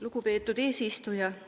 Lugupeetud eesistuja!